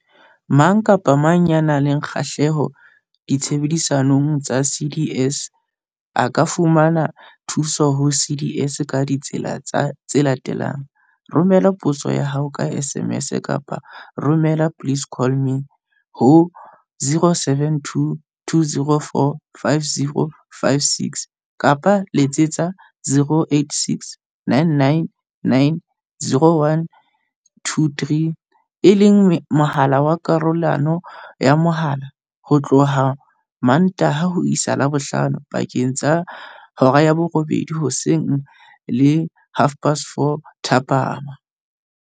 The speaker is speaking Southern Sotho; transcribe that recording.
Mang kapa mang ya nang le kgahleho ditshebeletsong tsa CDS a ka fumana thuso ho CDS ka ditsela tse latelang- Romela potso ya hao ka SMS kapa o romele 'please call me' ho 072 204 5056, kapa Letsetsa 086 999 0123, e leng mohala wa karolelano ya mohala, ho tloha Mmantaha ho isa Labohlano pakeng tsa 8-00 hoseng le 4-30 thapama.